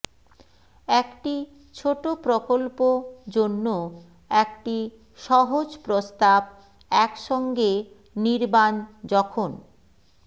একটি ছোট প্রকল্প জন্য একটি সহজ প্রস্তাব একসঙ্গে নির্বাণ যখন